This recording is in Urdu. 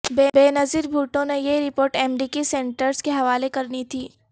بینظیر بھٹو نے یہ رپورٹ امریکی سینیٹرز کے حوالے کرنی تھی